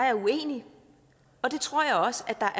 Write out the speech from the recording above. er uenig og det tror jeg også at der